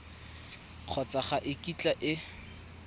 kgotsa ga e kitla e